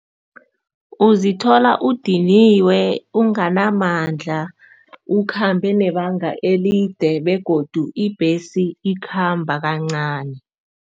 Uzithola udiniwe, unganamandla, ukhambe nebanga elide begodu ibhesi ikhamba kancani.